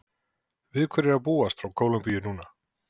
Við hverju er hægt að búast frá Kólumbíu núna?